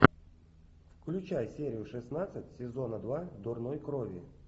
включай серию шестнадцать сезона два дурной крови